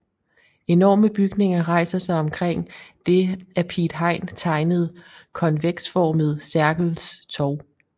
Enorme bygninger rejser sig omkring det af Piet Hein tegnede konveksformede Sergels Torg